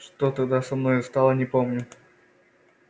что тогда со мною стало не помню